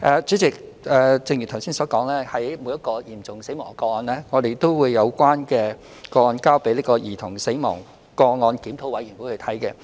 主席，正如我剛才所說，每宗嚴重死亡個案均會交由兒童死亡個案檢討委員會作出檢討。